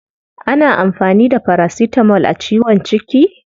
Ana amfani da paracetamol a ciwon ciki?